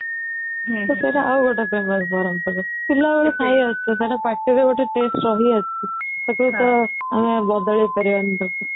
ତ ସେଇଟା ଆଉ ଗୋଟେ famous ବରମପୁରର ପିଲାବେଳୁ ଖାଇ ଆଉଛୁ ତାର ପାଟିରେ ଗୋଟେ taste ରହି ଆସିଛି ତାକୁ ତ ଆମେ ବଡାଳେଇ ପାରିବନି ତାକୁ